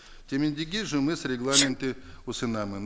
жұмыс регламентін ұсынамын